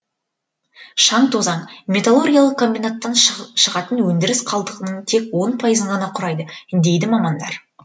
шаң тозаң металлургиялық комбинаттан шығатын өндіріс қалдығының тек он пайызын ғана құрайды дейді мамандар